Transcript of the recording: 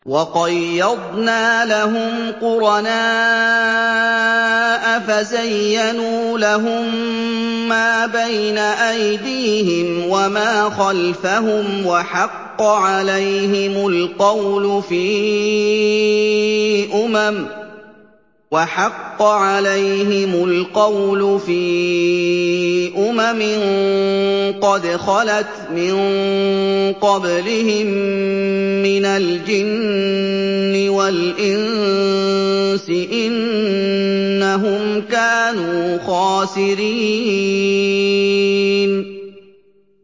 ۞ وَقَيَّضْنَا لَهُمْ قُرَنَاءَ فَزَيَّنُوا لَهُم مَّا بَيْنَ أَيْدِيهِمْ وَمَا خَلْفَهُمْ وَحَقَّ عَلَيْهِمُ الْقَوْلُ فِي أُمَمٍ قَدْ خَلَتْ مِن قَبْلِهِم مِّنَ الْجِنِّ وَالْإِنسِ ۖ إِنَّهُمْ كَانُوا خَاسِرِينَ